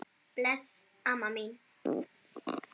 Bless, amma mín.